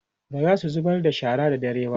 bazasu zubar da shara da dare ba